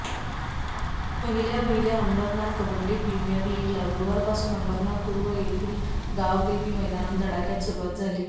पहिल्या वहिल्या अंबरनाथ कबड्डी प्रिमीअर लीगला गुरुवारपासून अंबरनाथ पूर्व येथील गावदेवी मैदानात धडाक्यात सुरुवात झाली